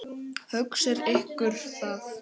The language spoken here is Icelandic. Hugsið ykkur það.